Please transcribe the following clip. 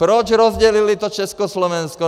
Proč rozdělili to Československo?